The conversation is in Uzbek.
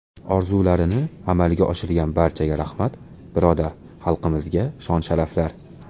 Orzularini amalga oshirgan barchaga rahmat, birodar xalqlarimizga shon-sharaflar.